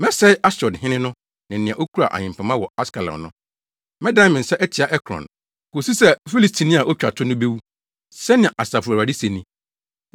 Mɛsɛe Asdod hene no ne nea okura ahempema wɔ Askelon no. Mɛdan me nsa atia Ekron, kosi sɛ Filistini a otwa to no bewu,” sɛnea Asafo Awurade se ni.